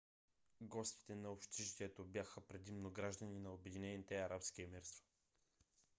гостите на общежитието бяха предимно граждани на обединените арабски емирства